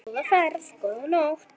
Góða ferð, góða nótt.